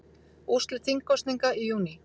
Úrslit þingkosninga í júní